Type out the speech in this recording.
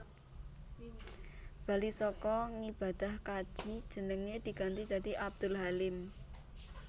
Bali saka ngibadah kaji jenenge diganti dadi Abdul Halim